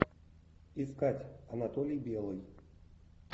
искать анатолий белый